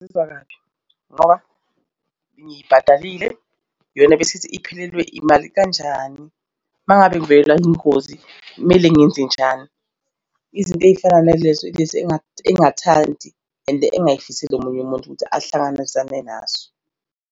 Ngizizwa kabi ngoba ngiyibhadalile. Iyona ebesithi iphelelwe imali kanjani? Uma ngabe ngivelelwa ingozi, kumele ngenzenjani? Izinto ey'fana nalezo ilezi engathi engathandi and engingayifiseli omunye umuntu ukuthi ahlangabezane nazo.